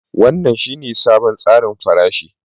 Wannan shine sabon tsarin farashi